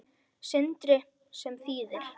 Sindri: Sem þýðir?